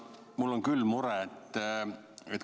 Mul on küll mure.